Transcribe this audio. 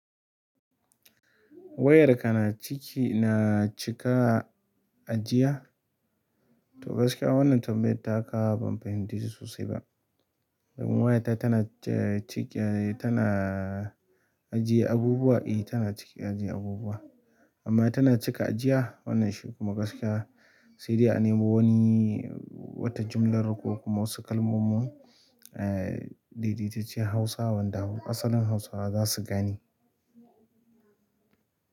Wayarka na ciki, na cika ajiya? To gaskiya wannan tambayar taka ban fahimce ta sosai ba. Waya ta tana cike, tana ajiye abubuwa, eh tana cike ajiye abubuwa. Amma tana cika ajiya? Wannan shi kuma gaskiya sai dai a nemo wani wata jumlar ko kuma wasu kalmomin daidaitaccen Hausa wanda asalin Hausawa za su gane.